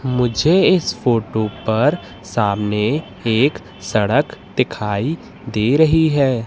मुझे इस फोटो पर सामने एक सड़क दिखाई दे रही हैं।